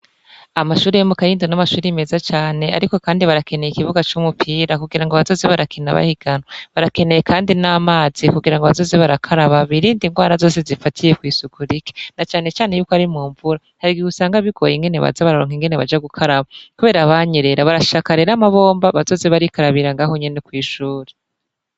Amashuri yo mu kayinda n'amashuri meza cane, ariko, kandi barakeneye ikibuga c'umupira kugira ngo bazoze barakina bahiganwa, barakeneye kandi n'amazi kugira ngo bazoze barakaraba birindi ingwara zose zifatiye kw'isuku rike na canecane yuko ari mu mvura harigihe usanga bigoye ingene baja bararonka ingene baja gukaraba, kubera abanyerera barashaka rero amabomba bazoze barikarabira ngaho nyene kw'ishuri.